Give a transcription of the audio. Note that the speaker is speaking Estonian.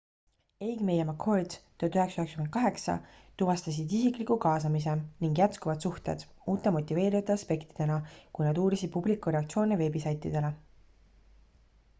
eighmey ja mccord 1998 tuvastasid isikliku kaasamise” ning jätkuvad suhted” uute motiveerivate aspektidena kui nad uurisid publiku reaktsioone veebisaitidele